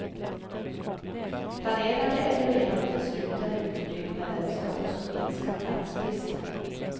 Planerade eller redan beslutade utbyggnader ska också minska platsbristen.